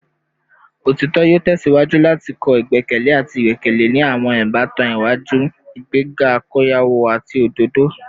Otitọ yoo tẹsiwaju lati kọ igbẹkẹle ati igbẹkẹle ni awọn ibatan iwaju, igbega akoyawo ati ododo